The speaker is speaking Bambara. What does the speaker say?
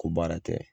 Ko baara tɛ